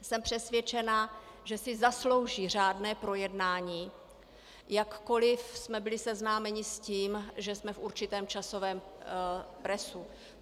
Jsem přesvědčena, že si zaslouží řádné projednání, jakkoliv jsme byli seznámeni s tím, že jsme v určitém časovém presu.